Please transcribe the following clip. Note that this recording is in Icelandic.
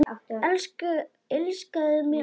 Elskaðu mig alt af.